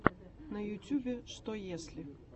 на ютубе что если